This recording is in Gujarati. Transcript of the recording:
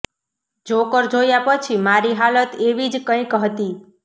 જોકર જોયા પછી મારી હાલત એવી જ કંઈક હતી